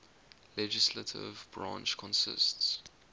legislative branch consists